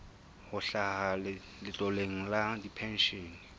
ho hlaha letloleng la dipenshene